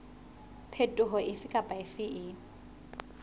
phetoho efe kapa efe e